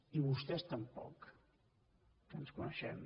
i vostès tampoc que ens coneixem